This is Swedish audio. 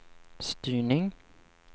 styrning